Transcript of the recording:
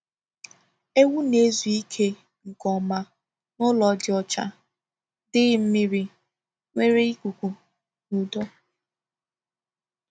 Ewu na-ezu ike nke ọma n’ụlọ dị ọcha, dịghị mmiri, nwere ikuku na udo.